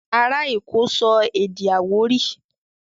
Ará èkó sọ èdè Àwórì